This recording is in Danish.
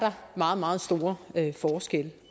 meget meget store forskelle